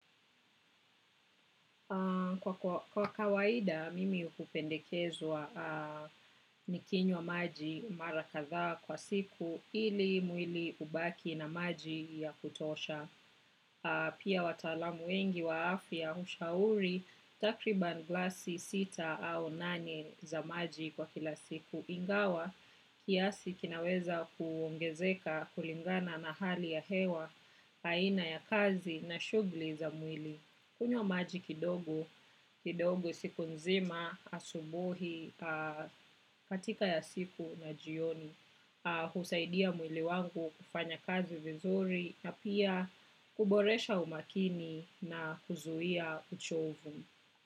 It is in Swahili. Kwa kawaida, mimi hupendekezwa nikinywa maji mara kadhaa kwa siku ili mwili ubaki na maji ya kutosha. Pia watalamu wengi wa afya, ushauri, takriban glasi sita au nane za maji kwa kila siku. Ingawa, kiasi kinaweza kuongezeka kulingana na hali ya hewa, aina ya kazi na shughuli za mwili. Kunywa maji kidogo, kidogo siku nzima, asubuhi, katika ya siku na jioni, husaidia mwili wangu kufanya kazi vizuri na pia kuboresha umakini na kuzuia uchovu.